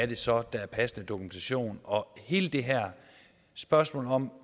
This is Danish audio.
det så er der er passende dokumentation og hele det her spørgsmål om